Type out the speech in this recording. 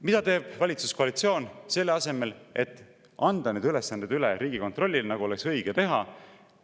Mida teeb valitsuskoalitsioon selle asemel, et anda need ülesanded üle Riigikontrollile, nagu oleks õige teha?